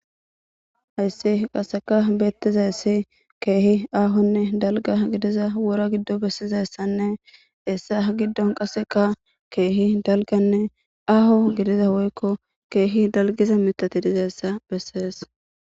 Hayssi qasseka beettiza ayssi keehi aahonne dalga gidiza wora giddo bessizayssanne hessa ha giddon qasseka keehi dalganne aaho gidiza woykko keehi dalgiza mitati dizayssa bessees.